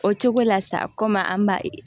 O cogo la sa koma an b'a ye